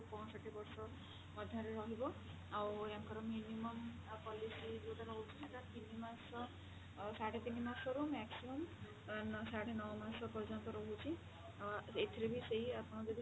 ପଞ୍ଚଷଠି ବର୍ଷ ମଧ୍ୟରେ ରହିବ ଆଉ ୟାଙ୍କର minimum policy ଯୋଉଟା ରହୁଛି ସେଟା ତିନି ମାସ ସାଢେ ତିନି ମାସରୁ maximum ସାଢେ ନଅ ମାସ ପର୍ଯ୍ୟନ୍ତ ରହୁଛି ଏଥିରେ ବି ସେଇ ଆପଣ ଯଦି